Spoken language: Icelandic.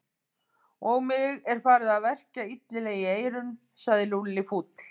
Og mig er farið að verkja illilega í eyrun sagði Lúlli fúll.